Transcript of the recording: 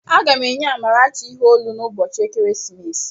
Aga m enye Amarachi ihe olu n'ụbọchị ekeresimesi